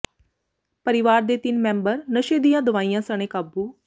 ਪਰਿਵਾਰ ਦੇ ਤਿੰਨ ਮੈਂਬਰ ਨਸ਼ੇ ਦੀਆਂ ਦਵਾਈਆਂ ਸਣੇ ਕਾਬੂ